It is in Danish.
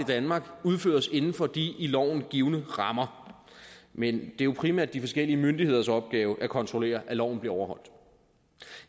danmark udføres inden for de i loven givne rammer men det er jo primært de forskellige myndigheders opgave at kontrollere at loven bliver overholdt